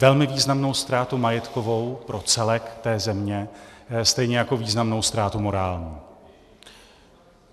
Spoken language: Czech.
Velmi významnou ztrátu majetkovou pro celek té země, stejně jako významnou ztrátu morální.